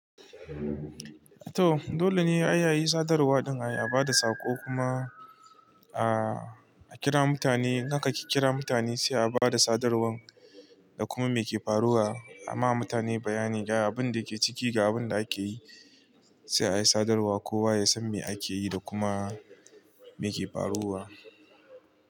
To dole ne a yi sadarwa din, a ba da sako kuma a kira mutane. In aka ki kira mutane sai a ba da sadarwar da kuma me ke faruwa. A ma mutane bayani ga abin da ke ciki ga abin da ake yi sai a yi sadarwa. Kowa ya san me ake yi da kuma me ke faruwa.